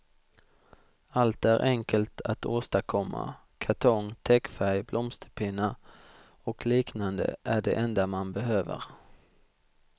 Allt är enkelt att åstadkomma; kartong, täckfärg, blomsterpinnar och liknande är det enda man behöver.